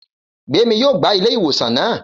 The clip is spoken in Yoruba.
Gbémi yóò gbá ilé ìwòsàn naa